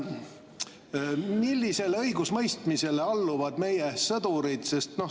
Millisele õigusemõistmisele meie sõdurid seal alluvad?